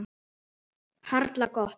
Harla gott.